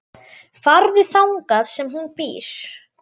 Farðu þangað sem hún býr.